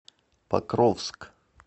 покровск